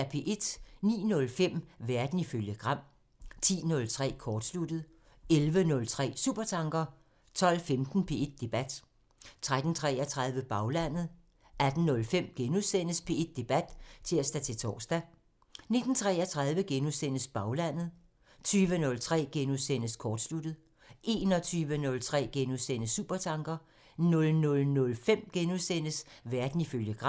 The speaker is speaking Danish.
09:05: Verden ifølge Gram (tir) 10:03: Kortsluttet (tir) 11:03: Supertanker (tir) 12:15: P1 Debat (tir-tor) 13:33: Baglandet (tir) 18:05: P1 Debat *(tir-tor) 19:33: Baglandet *(tir) 20:03: Kortsluttet *(tir) 21:03: Supertanker *(tir) 00:05: Verden ifølge Gram *(tir)